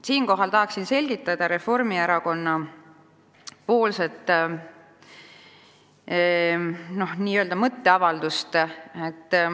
Siinkohal tahan selgitada Reformierakonna n-ö mõtteavaldust.